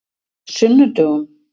sunnudögum